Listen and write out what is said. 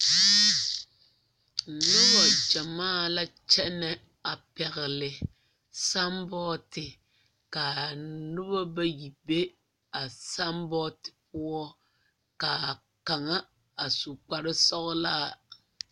Noba gyamaa la kyɛnɛ a pɛgle samboote ka a noba bayi be a samboote poɔ ka a kaŋa a su kpare sɔglaa a.